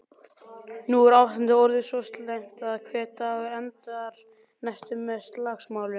Nú er ástandið orðið svo slæmt að hver dagur endar næstum með slagsmálum.